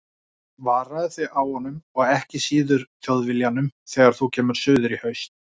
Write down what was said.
Varaðu þig á honum, og ekki síður Þjóðviljanum þegar þú kemur suður í haust.